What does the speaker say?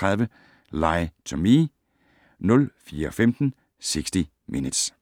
03:30: Lie to Me 04:15: 60 Minutes